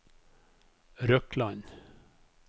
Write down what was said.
Røkland